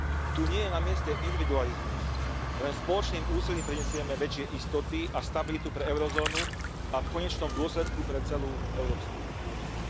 Tu nie je na mieste individualizmus. Len spoločným úsilím prinesieme väčšie istoty a stabilitu pre eurozónu a v konečnom dôsledku pre celú Európsku úniu.